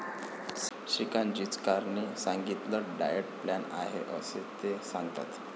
श्रीकांत जीचाकारणी सांगितलेला diet plan आहे असे ते सांगतात.